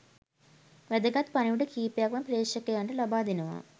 වැදගත් පණිවිඩ කීපයක්ම ප්‍රේක්ෂකයන්ට ලබා දෙනවා.